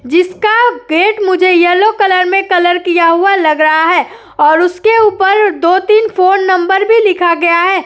जिसका पेंट मुझे yellow colour में कलर किया हुआ लग रहा है और उसके ऊपर दो तीन फोन नंबर भी लिखा गया है।